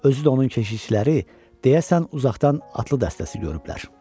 Özü də onun keşiyçiləri deyəsən uzaqdan atlı dəstəsi görüblər.